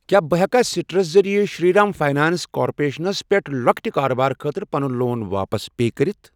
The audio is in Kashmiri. کیٛاہ بہٕ ہٮ۪کا سِٹرس ذٔریعہٕ شِری رام فاینانٛس کارپوریشنَس پٮ۪ٹھ لۄکٹہِ کارٕبارٕ خٲطرٕ پَنُن لون واپس پے کٔرِتھ؟